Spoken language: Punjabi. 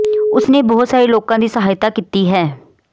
ਉਸ ਨੇ ਬਹੁਤ ਸਾਰੇ ਲੋਕਾਂ ਦੀ ਸਹਾਇਤਾ ਕੀਤੀ ਹੈ